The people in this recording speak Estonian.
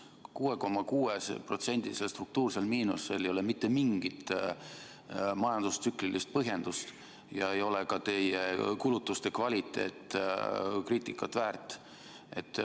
6,6%-lisel struktuursel miinusel ei ole mitte mingisugust majandustsüklilist põhjendust ja ka teie kulutuste kvaliteet ei ole kriitikat väärt.